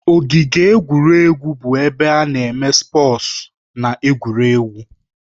Ogige egwuregwu bụ ebe ana eme spọọs na egwuregwu